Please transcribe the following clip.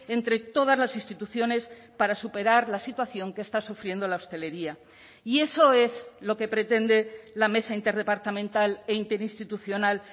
entre todas las instituciones para superar la situación que está sufriendo la hostelería y eso es lo que pretende la mesa interdepartamental e interinstitucional